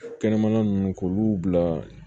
Kɛnɛmana ninnu k'olu bila